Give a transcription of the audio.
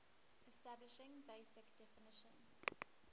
establishing basic definition